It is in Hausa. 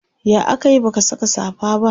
ya akayi baka Saka safa ba?